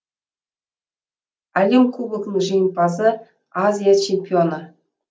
әлем кубогінің женімпазы азия чемпионы